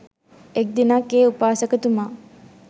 එක් දිනක් ඒ උපාසකතුමා